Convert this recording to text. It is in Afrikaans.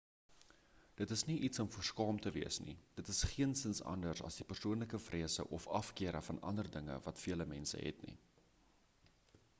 dit is nie iets om voor skaam te wees nie dit is geensins anders as die persoonlike vrese of afkeure van ander dinge wat vele mense het nie